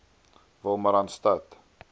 wolmaransstad